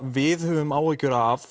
við höfum áhyggjur af